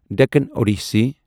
Deccan اوٚڈِسٕے